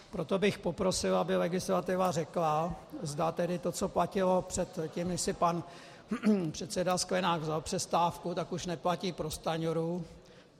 Proto bych poprosil, aby legislativa řekla, zda tedy to, co platilo předtím, než si pan předseda Sklenák vzal přestávku, tak už neplatí pro Stanjuru.